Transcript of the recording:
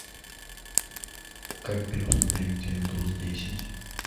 как переустановить виндовс десять